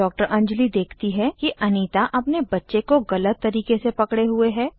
डॉ अंजली देखती है कि अनीता अपने बच्चे को गलत तरीके से पकडे हुए है